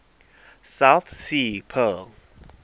south sea pearl